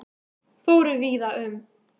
Fóru víða um